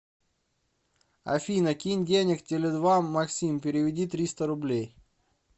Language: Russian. афина кинь денег теле два максим переведи триста рублей